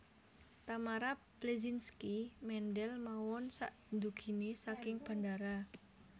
Tamara Bleszynsky mendel mawon sakdugine saking bandara